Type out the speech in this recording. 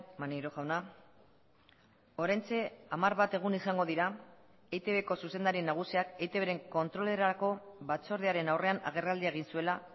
maneiro jauna oraintxe hamar bat egun izango dira eitbko zuzendari nagusiak eitbren kontrolerako batzordearen aurrean agerraldia egin zuela